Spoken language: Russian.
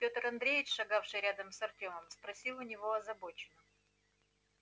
пётр андреевич шагавший рядом с вртемом спросил у него озабоченно